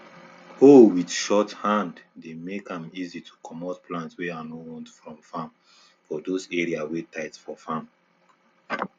hoe wit short hand dey make an easy to comot plant wey i no want from farm for those area wey tight for farm